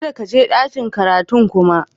Kadda ka je ɗakin karatun kuma!